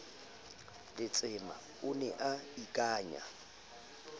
letsema o ne a akanya